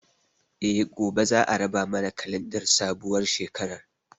Eh, gobe za a raba mana kalandar sabuwar shekarar